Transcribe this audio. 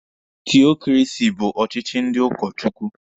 Tiokrasi bụ ọchịchị ndị ụka Chukwu.